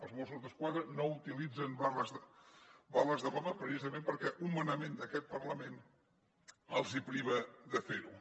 els mossos d’esquadra no utilitzen bales de goma precisament perquè un manament d’aquest parlament els priva de fer ho